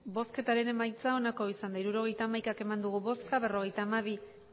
hirurogeita hamaika eman dugu bozka berrogeita hamabi